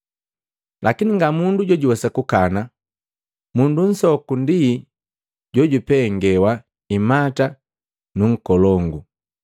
Lakini nga mundu jojuwesa kukana, mundu nsoku ndi jojupengewa imata nunkolongu.